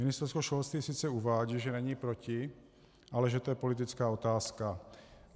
Ministerstvo školství sice uvádí, že není proti, ale že to je politická otázka.